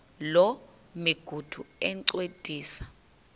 loo migudu encediswa